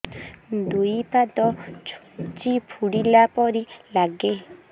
ଦୁଇ ପାଦ ଛୁଞ୍ଚି ଫୁଡିଲା ପରି ଲାଗେ